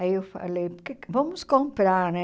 Aí eu falei, por que que vamos comprar, né?